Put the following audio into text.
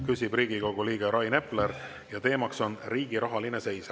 Küsib Riigikogu liige Rain Epler ja teema on riigi rahaline seis.